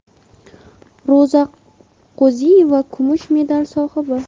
Ro‘za Qo‘ziyeva kumush medal sohibi.